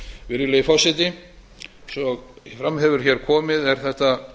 virðulegi forseti eins og fram hefur komið er þetta